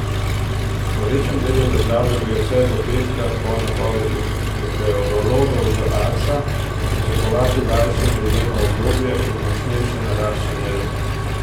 V večjem delu države gre vse do petka po napovedih meteorologov z Arsa pričakovati daljše deževno obdobje in močnejše naraščanje rek.